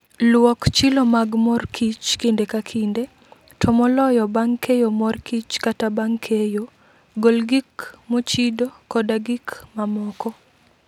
Luok chilo mag mor kich kinde ka kinde, to moloyo bang' keyo mor kich kata bang' keyo. Gol gik mochido, koda gik mamoko.